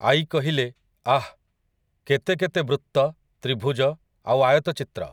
ଆଈ କହିଲେ, ଆଃ! କେତେକେତେ ବୃତ୍ତ, ତ୍ରିଭୂଜ ଆଉ ଆୟତଚିତ୍ର!